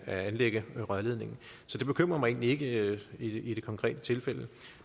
at anlægge rørledningen så det bekymrer mig egentlig ikke i det konkrete tilfælde